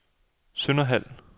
Sønderhald